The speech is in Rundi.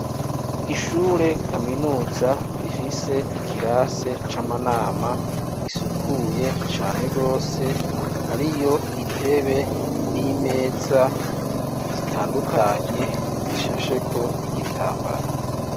Ishure kaminuza rifise ikirase c’amanama risukuye cane gose ,hariyo intebe n’imeza zitandukanye zishasheko igitambara.